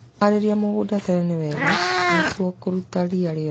Kũharĩria mũgũnda tene ni wega niguo kũruta ria rĩothe.